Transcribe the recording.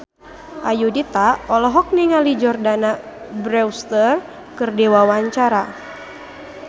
Ayudhita olohok ningali Jordana Brewster keur diwawancara